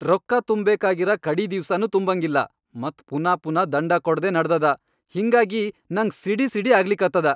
ರೊಕ್ಕಾ ತುಂಬ್ಬೇಕಾಗಿರ ಕಡಿ ದಿವ್ಸನೂ ತುಂಬಂಗಿಲ್ಲಾ ಮತ್ ಪುನಾ ಪುನಾ ದಂಡಾ ಕೊಡದೇ ನಡದದ, ಹಿಂಗಾಗಿ ನಂಗ್ ಸಿಡಿಸಿಡಿ ಆಗ್ಲಿಕತ್ತದ.